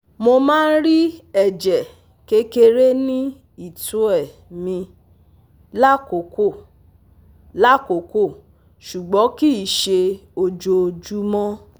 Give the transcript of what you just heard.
Mo máa ń rí ẹ̀jẹ̀ kékeré ní ìtoẹ mi lákòókò, lákòókò, ṣùgbọ́n kìí ṣe ojoojúmọ́